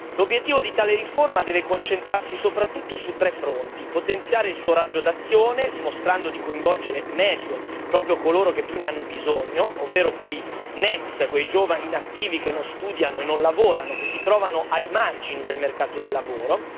L'obiettivo di tale riforma deve concentrarsi soprattutto su tre fronti in primo luogo potenziare il suo raggio d'azione, dimostrando di coinvolgere meglio proprio coloro che più ne hanno bisogno, ovvero i NEET, quei giovani inattivi che non studiano e non lavorano, che si trovano ai margini del mercato del lavoro.